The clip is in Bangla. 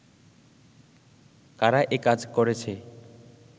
কারা একাজ করেছে